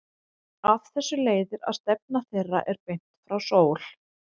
Af þessu leiðir að stefna þeirra er beint frá sól.